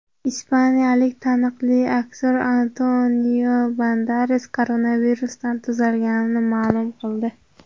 Ispaniyalik taniqli aktyor Antonio Banderas koronavirusdan tuzalganini ma’lum qildi.